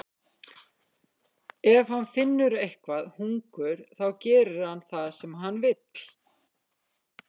Ef hann finnur eitthvað hungur þá gerir hann það sem hann vill.